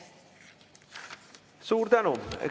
Suur tänu!